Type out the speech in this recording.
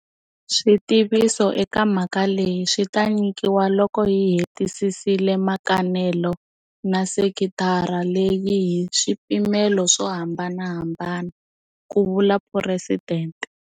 Switiviso eka mhaka leyi swi ta nyikiwa loko hi hetisisile mikanelo na sekitara leyi hi swipimelo swo hamba nahambana, ku vula Phuresidente.